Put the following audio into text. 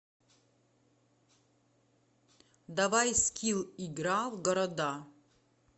давай скилл игра в города